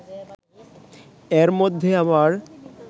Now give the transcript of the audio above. এর মধ্যে আবার